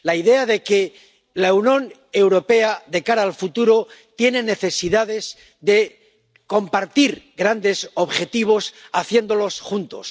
La idea de que la Unión Europea, de cara al futuro, tiene necesidad de compartir grandes objetivos y hay que hacerlo juntos.